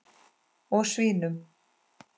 Og svínum.